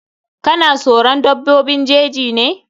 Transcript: Ka na soron dabbobin jeji ne?